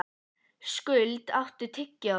Skuld, áttu tyggjó?